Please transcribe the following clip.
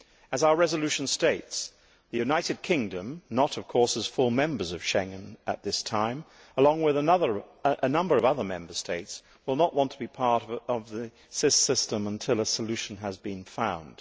As our resolution states, the United Kingdom not, of course, as a full member of Schengen at this time along with a number of other Member States, will not want to be part of this system until a solution has been found.